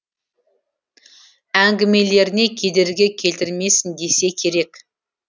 әңгімелеріне кедергі келтірмесін десе керек